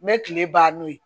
N bɛ kile ban n'o ye